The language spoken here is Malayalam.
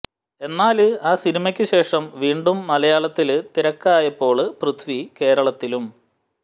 എന്നാല് ആ സിനിമയ്ക്ക് ശേഷം വീണ്ടും മലയാളത്തില് തിരക്കായപ്പോള് പൃഥ്വി കേരളത്തിലും